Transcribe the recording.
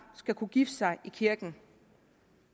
skal kunne gifte sig i kirken